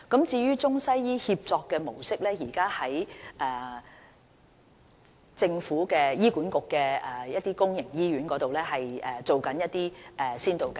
至於中西醫協作的模式，現時正在醫管局轄下的一些公營醫院進行一些先導計劃。